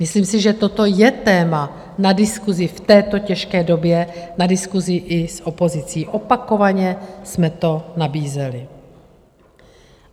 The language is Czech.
Myslím si, že toto je téma na diskusi v této těžké době, na diskusi i s opozicí, opakovaně jsme to nabízeli.